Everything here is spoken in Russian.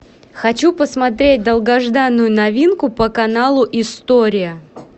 хочу посмотреть долгожданную новинку по каналу история